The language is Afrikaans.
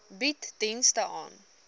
bied dienste ten